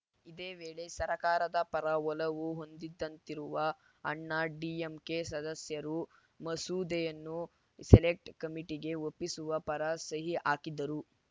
ಇದೇ ವೇಳೆ ಸರ್ಕಾರದ ಪರ ಒಲವು ಹೊಂದಿದಂತಿರುವ ಅಣ್ಣಾ ಡಿಎಂಕೆ ಸದಸ್ಯರೂ ಮಸೂದೆಯನ್ನು ಸೆಲೆಕ್ಟ್ ಕಮಿಟಿಗೆ ಒಪ್ಪಿಸುವ ಪರ ಸಹಿ ಹಾಕಿದರು